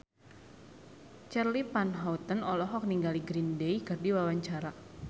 Charly Van Houten olohok ningali Green Day keur diwawancara